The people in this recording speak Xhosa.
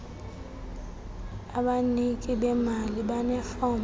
abaniki bemali banefom